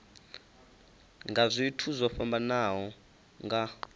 nga zwithu zwo fhambanaho nga